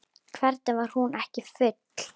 Hvernig var hún ekki full?